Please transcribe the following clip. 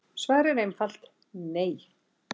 Svarið er einfalt nei.